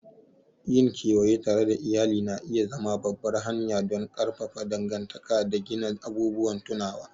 Yin kewaye tare da iyali na iya zama babbar hanya don ƙarfafa dangantaka da gina abubuwan tunawa.